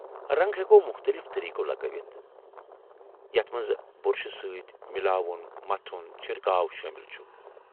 رنٛگ ہٮ۪کو مختٔلف طریقو لگٲوِتھ ، یتھ منٛز بُرشہٕ سۭتۍ ، مِلاوُن ،متھُن ،چھِرکاو شٲمل چھ۔